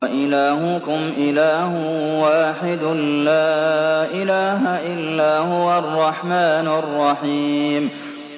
وَإِلَٰهُكُمْ إِلَٰهٌ وَاحِدٌ ۖ لَّا إِلَٰهَ إِلَّا هُوَ الرَّحْمَٰنُ الرَّحِيمُ